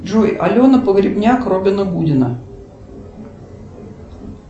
джой алена погребняк робина гудина